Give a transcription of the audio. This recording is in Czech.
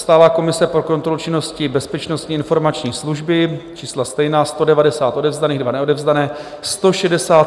Stálá komise pro kontrolu činnosti Bezpečnostní informační služby - čísla stejná, 190 odevzdaných, 2 neodevzdané.